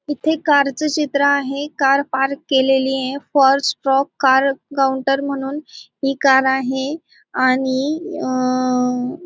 इथे कारचे चित्र आहे. कार पार्क केलेलीये. फॉर स्ट्रोक कार काउंटर म्हणून ही कार आहे आणि अं --